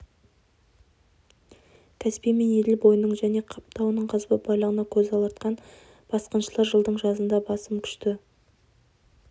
каспий мен еділ бойының және қап тауының қазба байлығына көз алартқан басқыншылар жылдың жазында басым күшті